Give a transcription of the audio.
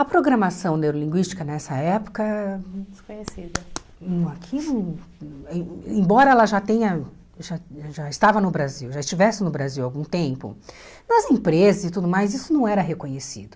A programação neurolinguística nessa época, desconhecida aqui não, e embora ela já tenha, já já estava no Brasil, já estivesse no Brasil há algum tempo, nas empresas e tudo mais, isso não era reconhecido.